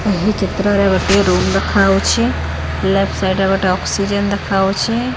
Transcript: ଏହି ଚିତ୍ରରେ ଗୋଟେ ରୁମ ଦେଖାଯାଉଛି ଲେପ୍ଟ ସାଇଡ ରେ ଗୋଟେ ଅକ୍ସିଜେନ ଦେଖାଯାଉଛି।